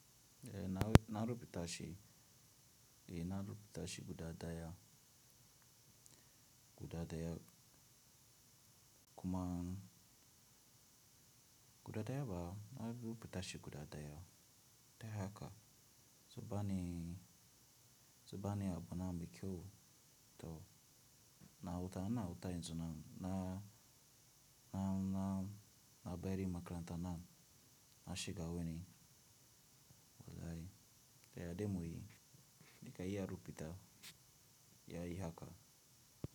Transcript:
Eh na rubu ta shi, eh na ruba ta shi guda daya, guda daya kuma guda daya ba na rubu ta shi guda daya. Ta haka, suba ni, suba ni abu na mai kyau to na huta, ina huta yanzunan na, na, na, na bari makaranta na, na shiga wani walli. Ta yadda mu yi, ni ka yi a rubu ta, ya yi haka.